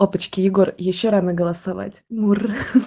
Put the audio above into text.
опачки егор ещё рано голосовать мур ха-ха